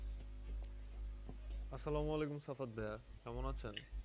আসসালামু আলাইকুম সাফাত ভাইয়া। কেমন আছেন?